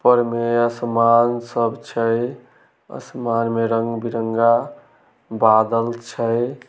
ऊपर में आसमान सब छै आसमान में रंग-बिरंगा बादल छै।